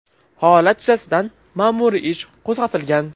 Holat yuzasidan ma’muriy ish qo‘zg‘atilgan.